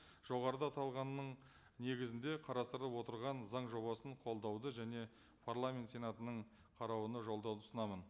жоғарыда аталғанның негізінде қарастырылып отырған заң жобасын қолдауды және парламент сенатының қарауына жолдауды ұсынамын